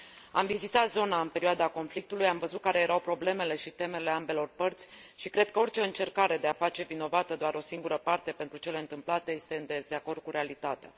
Am vizitat zona în perioada conflictului, am văzut care erau problemele și temerile ambelor părți și cred că orice încercare de a face vinovată doar o singură parte pentru cele întâmplate este în dezacord cu realitatea.